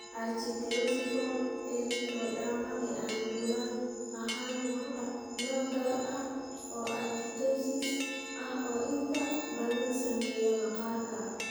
Ichthyosiform erythroderma (NBCIE) lagu dhasho ee aan bullal ahayn waa nooc gaar ah oo ichthyosis ah oo inta badan saameeya maqaarka.